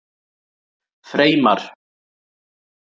Freymar